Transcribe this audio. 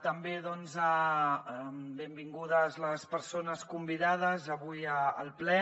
també doncs benvingudes les persones convidades avui al ple